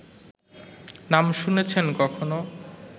নাম শুনেছেন কখনো